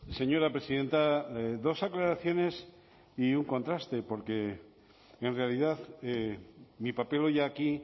señora presidenta dos aclaraciones y un contraste porque en realidad mi papel hoy aquí